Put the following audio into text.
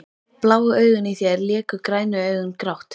Bláu augun í þér léku grænu augun grátt.